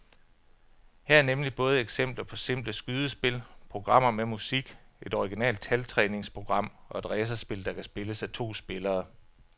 Her er nemlig både eksempler på simple skydespil, programmer med musik, et originalt taltræningsprogram og et racerspil, der kan spilles af to spillere.